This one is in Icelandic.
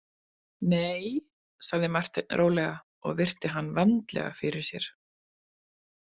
Nei, sagði Marteinn rólega og virti hann vandlega fyrir sér.